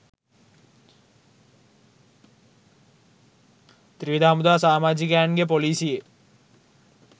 ත්‍රිවිධ හමුදා සාමාජිකයන්ගේ ‍පොලිසියේ